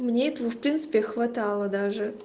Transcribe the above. мне в принципе хватало даже